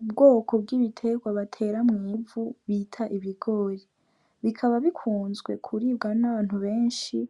Ubwoko bw'ibiterwa batera mu ivu bita ibigori bikaba bikunzwe kuribwa n'abantu beshi